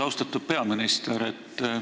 Austatud peaminister!